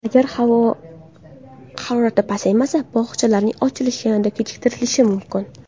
Agar havo harorati pasaymasa, bog‘chalarning ochilishi yanada kechiktirilishi mumkin.